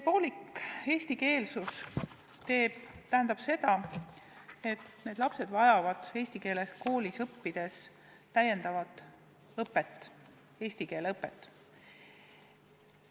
Poolik eestikeelsus tähendab seda, et need lapsed vajavad eesti keeles õppides täiendavat eesti keele õpet.